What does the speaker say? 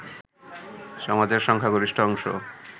সমাজের সংখ্যাগরিষ্ঠ অংশ